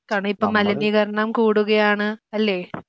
കാരണം ഇപ്പം മലിനീകരണം കൂടുകയാണ് അല്ലേ?